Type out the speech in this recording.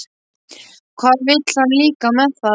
Hvað vill hann líka með það?